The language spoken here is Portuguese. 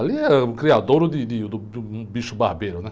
Ali é o criadouro de, de, do, de um bicho barbeiro, né?